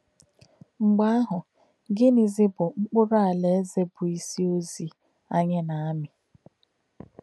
mgbe ahu, Gịnịzi bụ mkpụrụ Alaeze bụ́ isi ozi anyị na-amị?